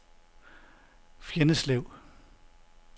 Fjenneslev